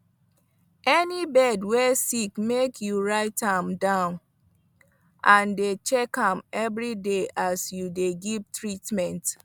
any bird wey sick make you write am down and dey check am every day as you dey give treatment